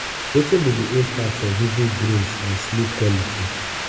wetin be di impact of vivid dreams on sleep quality?